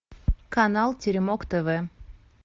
канал теремок тв